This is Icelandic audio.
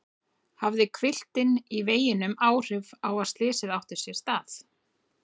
Hafði hvilftin í veginum áhrif á að slysið átti sér stað?